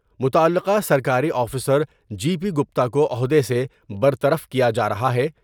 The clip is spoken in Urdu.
متعلقہ سرکاری آفیسر جی پی گپتا کو عہدے سے برطرف کیا جارہا ہے ۔